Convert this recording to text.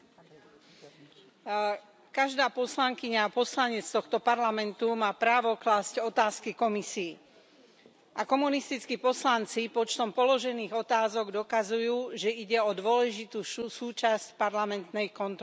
Vážený pán predsedajúci, každá poslankyňa a poslanec tohto Parlamentu má právo klásť otázky Komisii. A komunistickí poslanci počtom položených otázok dokazujú, že ide o dôležitú súčasť parlamentnej kontroly.